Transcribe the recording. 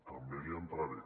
també li entraré